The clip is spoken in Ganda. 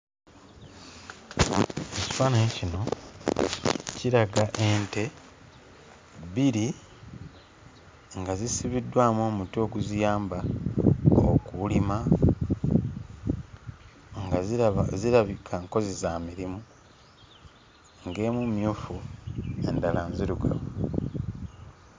Ekifaananyi kino kiraga ente bbiri nga zisibiddwamu omuti oguziyamba okulima nga ziraba zirabika nkozi za mirimu ng'emu mmyufu endala nzirugavu.